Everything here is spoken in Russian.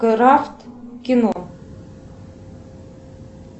крафт кино